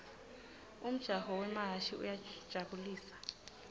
umjaho wemahhashi uyajabu lisa